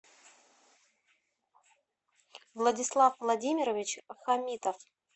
владислав владимирович хамитов